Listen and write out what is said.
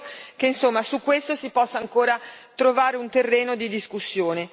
Spero, insomma, che su questo si possa ancora trovare un terreno di discussione.